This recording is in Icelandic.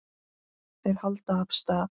Þeir halda af stað.